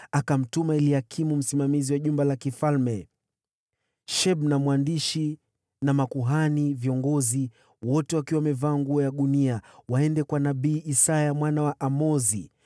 Akawatuma Eliakimu msimamizi wa nyumba ya mfalme, Shebna mwandishi, na viongozi wa makuhani, wote wakiwa wamevaa nguo za magunia, waende kwa nabii Isaya mwana wa Amozi.